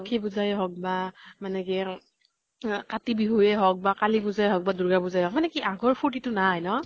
লক্ষী পুজাই হওঁক বা মানে কি আহ কাতি বিহুয়ে হওঁক বা কালী পুজাই হওঁক বা দুৰ্গা পুজাই হওঁক, মানে কি আগৰ ফুৰ্তিটো নাই ন?